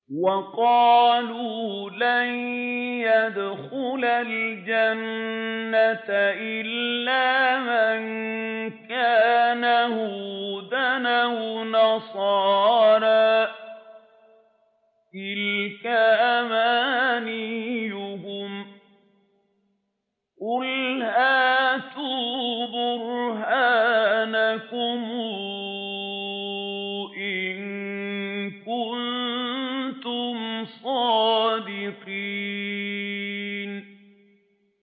وَقَالُوا لَن يَدْخُلَ الْجَنَّةَ إِلَّا مَن كَانَ هُودًا أَوْ نَصَارَىٰ ۗ تِلْكَ أَمَانِيُّهُمْ ۗ قُلْ هَاتُوا بُرْهَانَكُمْ إِن كُنتُمْ صَادِقِينَ